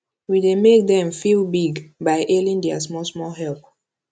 we dey make dem feel big by hailing their smallsmall help